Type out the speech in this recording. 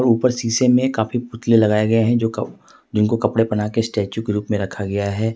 ऊपर शीशे में काफी पुतले लगाए गए है जिनको कपड़े पहना के स्टेच्यू के रूप में रखा गया है।